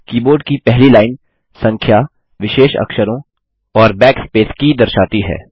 keyboard की पहली line संख्या विशेष अक्षरों और बैकस्पेस की दर्शाती है